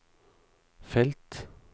felt